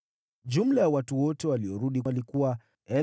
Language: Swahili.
Jumla ya watu wote waliorudi walikuwa 42,360;